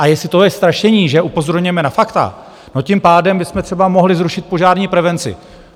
A jestli to je strašení, že upozorňujeme na fakta, tak tím pádem bychom třeba mohli zrušit požární prevenci.